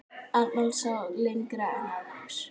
Arnold sá lengra en aðrir.